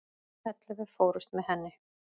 Ellefu fórust með henni.